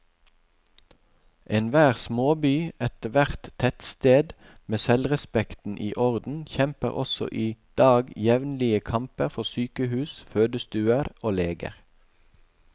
Enhver småby, ethvert tettsted med selvrespekten i orden, kjemper også i dag jevnlige kamper for sykehus, fødestuer og leger.